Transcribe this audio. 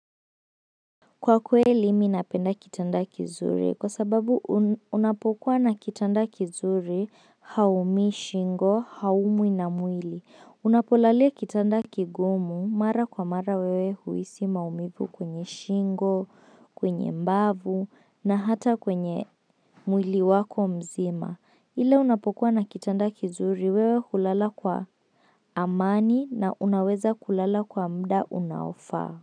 Kwa kweli, minapenda kitanda kizuri kwa sababu unapokuwa na kitanda kizuri haumii, shingo, haumu na mwili. Unapolalia kitanda kigumu mara kwa mara wewe huisi maumivu kwenye shingo, kwenye mbavu na hata kwenye mwili wako mzima. Ile unapokuwa na kitanda kizuri wewe hulala kwa amani na unaweza kulala kwa mda unaofaa.